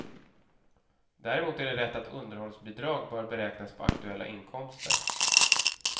Däremot är det rätt att underhållsbidrag bör beräknas på aktuella inkomster.